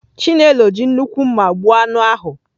Chinelo ji nnukwu mma gbuo anụ ahụ.